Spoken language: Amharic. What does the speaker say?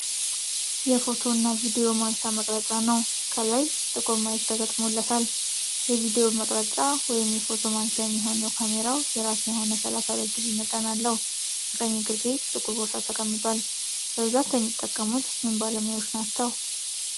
የፎቶ እና ቪዲዮ ማንሻና መቅረጫ ነዉ። ከላይ ጥቁር ማይክ ተገጥሞለታል። የቪዲዮ መቅረጫ ወይም የፎቶ ማንሻ የሚሆን ካሜራዉ የራሱ የሆነ 32 ጂቢ መጠን አለዉ። ከቀኝ ግርጌ ጥቁር ቦርሳ ተቀምጧል። በብዛት የሚጠቀሙት የምን ባለሙያዎች ናቸዉ?